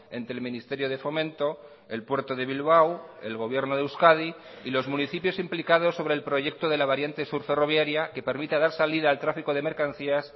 entre el ministerio de fomento el puerto de bilbao el gobierno de euskadi y los municipios implicados sobre el proyecto de la variante sur ferroviaria que permita dar salida al tráfico de mercancías